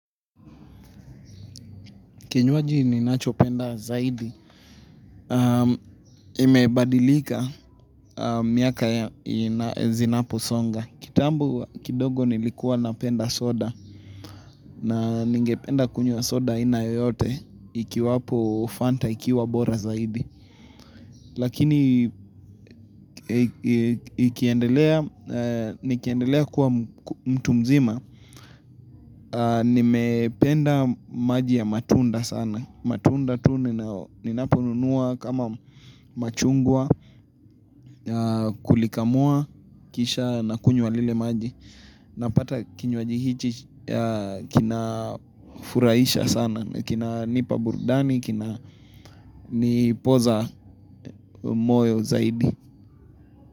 Kinywaji ninacho penda zaidi. Imebadilika miaka zinaposonga. Kitambo kidogo nilikuwa na penda soda. Na ningependa kunywa soda aina yoyote. Ikiwapo fanta ikiwa bora zaidi. Lakini nikiendelea kuwa mtu mzima. Nimependa maji ya matunda sana. Matunda tuu ninapununua kama machungwa, kulikamua, kisha na kunywa lile maji. Napata kinwajihichi kina furaisha sana. Kina nipa burdani, kina nipoza moyo zaidi.